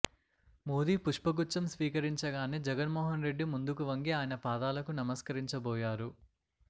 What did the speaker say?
మోదీ పుష్పగుచ్ఛం స్వీకరించగానే జగన్మోహన్రెడ్డి ముందుకు వంగి ఆయన పాదాలకు నమస్కరించబోయారు